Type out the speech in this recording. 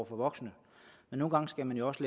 for voksne men nogle gange skal man jo også